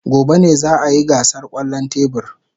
Gobe ​​ne za a yi gasar kwallon tebur.